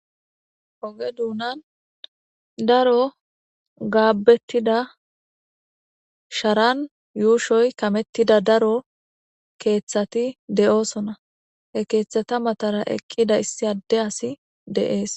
hoge duunan daro gaabbettida sharan yuushoy kamettida daro keeththati de7oosona he keeththata matara eqqida issi adde asi deees